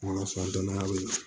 Mana sɔngɔnyaw la